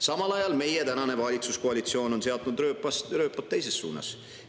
Samal ajal on meie tänane valitsuskoalitsioon seadnud rööpaid teises suunas.